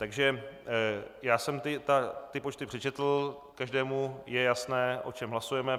Takže já jsem ty počty přečetl, každému je jasné, o čem hlasujeme.